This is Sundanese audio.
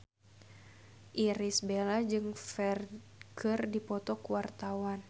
Irish Bella jeung Ferdge keur dipoto ku wartawan